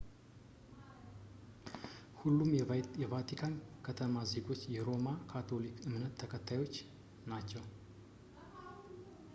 ሁሉም የቫቲካን ከተማ ዜጎች የሮማ ካቶሊክ እምነት ተከታዮች ናቸው